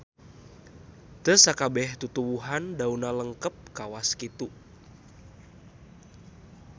Teu sakabeh tutuwuhan daunna lengkep kawas kitu